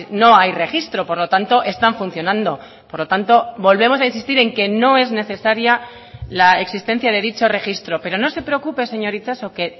no hay registro por lo tanto están funcionando por lo tanto volvemos a insistir en que no es necesaria la existencia de dicho registro pero no se preocupe señor itxaso que